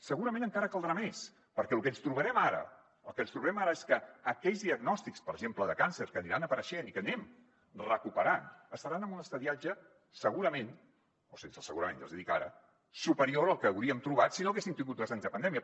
segurament encara caldrà més perquè lo que ens trobarem ara el que ens trobem ara és que aquells diagnòstics per exemple de càncer que aniran apareixent i que anem recuperant estaran en un estadiatge segurament o sense el segurament ja els hi dic ara superior al que hauríem trobat si no haguéssim tingut dos anys de pandèmia